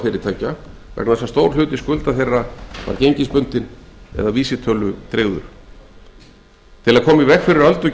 fyrirtækja vegna þess að stór hluti skulda þeirra var gengisbundinn eða vísitölutryggður til að koma í veg fyrir öldu